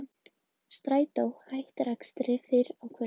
Strætó hættir akstri fyrr á kvöldin